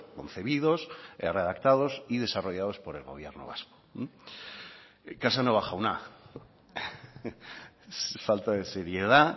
concebidos redactados y desarrollados por el gobierno vasco casanova jauna falta de seriedad